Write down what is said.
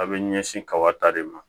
A bɛ ɲɛsin kaba ta de ma